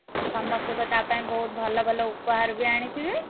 ଆଉ ସମସ୍ତେବି ତା ପାଇଁ ବୋହୁତ ଭଲ ଭଲ ଉପହାର ବି ଆଣିଥିବେ?